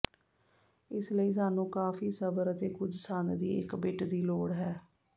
ਇਸ ਲਈ ਸਾਨੂੰ ਕਾਫ਼ੀ ਸਬਰ ਅਤੇ ਕੁਝ ਸੰਦ ਦੀ ਇੱਕ ਬਿੱਟ ਦੀ ਲੋੜ ਹੈ